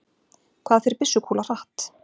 Hvað fer byssukúla hratt?